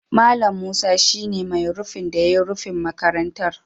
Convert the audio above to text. Mallam Musa shi ne mai rufin da ya yi rufin makarantar.